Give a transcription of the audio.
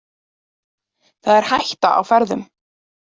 Það er hætta á ferðum.